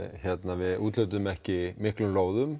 við úthlutuðum ekki mörgum lóðum